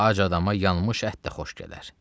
Ac adama yanmış ət də xoş gələr.